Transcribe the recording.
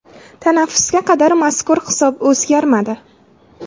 Tanaffusga qadar, mazkur hisob o‘zgarmadi.